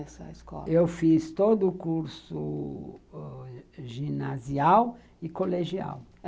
Nessa escola. Eu fiz todo o curso ginasial e colegial.